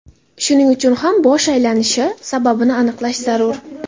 Shuning uchun ham bosh aylanishi sababini aniqlash zarur.